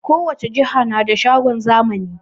Kowace jiha na da shagon zamani